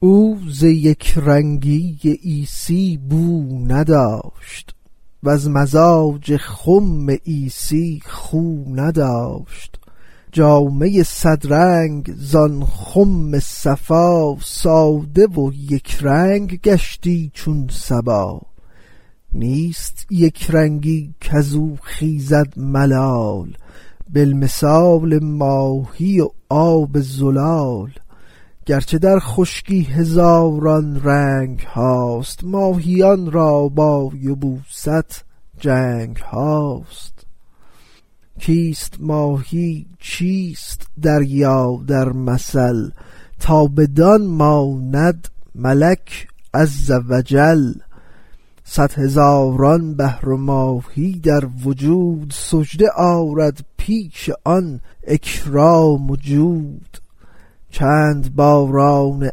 او ز یک رنگی عیسی بو نداشت وز مزاج خم عیسی خو نداشت جامه صد رنگ از آن خم صفا ساده و یک رنگ گشتی چون صبا نیست یک رنگی کزو خیزد ملال بل مثال ماهی و آب زلال گرچه در خشکی هزاران رنگهاست ماهیان را با یبوست جنگهاست کیست ماهی چیست دریا در مثل تا بدان ماند ملک عز و جل صد هزاران بحر و ماهی در وجود سجده آرد پیش آن اکرام و جود چند باران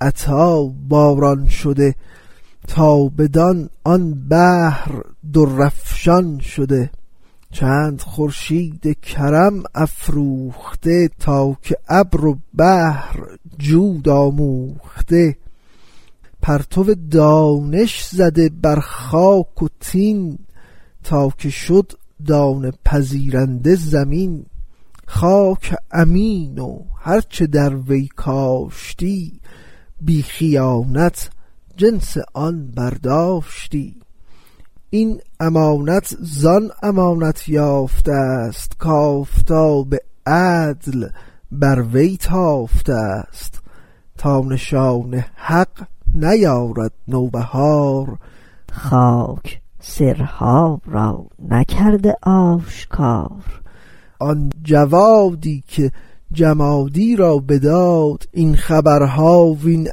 عطا باران شده تا بدان آن بحر در افشان شده چند خورشید کرم افروخته تا که ابر و بحر جود آموخته پرتو دانش زده بر خاک و طین تا که شد دانه پذیرنده زمین خاک امین و هر چه در وی کاشتی بی خیانت جنس آن برداشتی این امانت زان امانت یافتست کآفتاب عدل بر وی تافتست تا نشان حق نیارد نوبهار خاک سرها را نکرده آشکار آن جوادی که جمادی را بداد این خبرها وین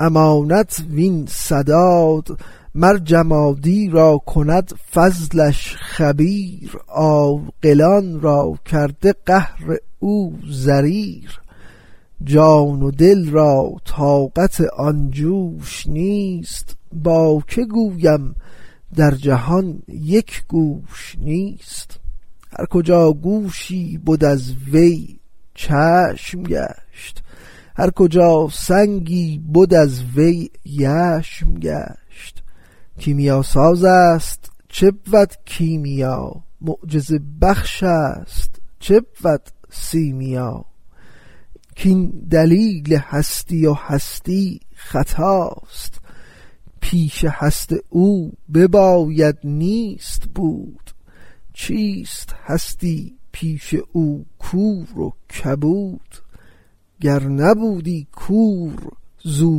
امانت وین سداد مر جمادی را کند فضلش خبیر عاقلان را کرده قهر او ضریر جان و دل را طاقت آن جوش نیست با که گویم در جهان یک گوش نیست هر کجا گوشی بد از وی چشم گشت هر کجا سنگی بد از وی یشم گشت کیمیاسازست چه بود کیمیا معجزه بخش است چه بود سیمیا این ثنا گفتن ز من ترک ثناست کین دلیل هستی و هستی خطاست پیش هست او بباید نیست بود چیست هستی پیش او کور و کبود گر نبودی کور زو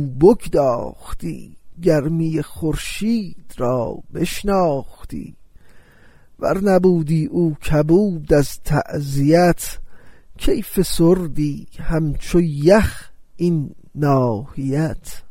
بگداختی گرمی خورشید را بشناختی ور نبودی او کبود از تعزیت کی فسردی همچو یخ این ناحیت